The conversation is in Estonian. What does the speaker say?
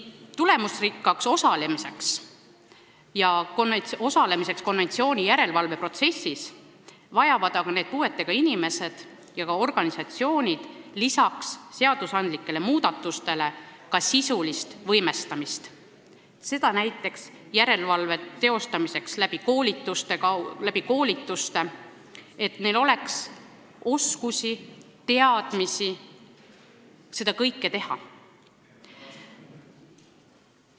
Tulemusrikkaks osalemiseks konventsiooni järelevalve protsessis vajavad aga need puuetega inimesed ja organisatsioonid peale seadusandlike muudatuste ka sisulist võimestamist näiteks järelevalve teostamise koolituste abil, et nad oskaksid seda kõike teha.